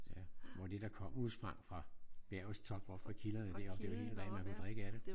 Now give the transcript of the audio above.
Ja det var det der kom udsprang fra bjergets top oppe fra kilderne deroppe. Det var helt rent. Man kunne drikke af det